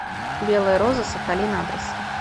белая роза сахалин адрес